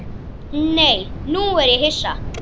Nei, nú er ég hissa!